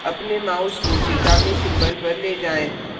आपने mouse को चेतावनी symbol पर ले जाएँ